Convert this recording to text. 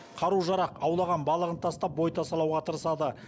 қару жарақ аулаған балығын тастап бой тасалауға тырысады